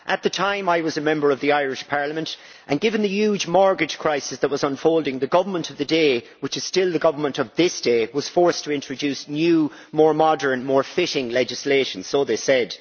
At the time I was a Member of the Irish Parliament and, given the huge mortgage crisis that was unfolding, the government of the day, which is still the government of this day, was forced to introduce new, more modern, more fitting legislation so they said.